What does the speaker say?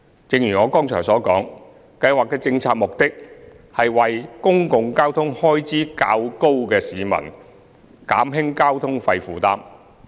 正如我剛才所述，計劃的政策目的，是為公共交通開支較高的市民減輕交通費負擔。